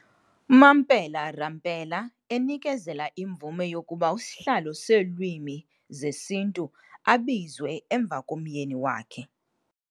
Mampela Rampela enikezela imvume yokuba isihlalo seeLwimi zesiNtu abizwe emva komyeni wakhe.